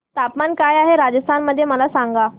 तापमान काय आहे राजस्थान मध्ये मला सांगा